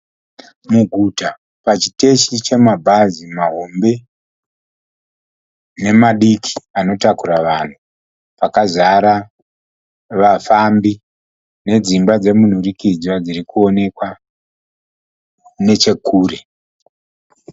Muguta pachiteshi chemabhazi mahombe nemadiki anotakura vanhu. Pakazara vafambi nedzimba dzemunhurikidzwa dzirikuonekwa nechekure.